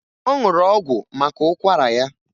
Ọ ṅụrụ ọgwụ maka ụkwara ya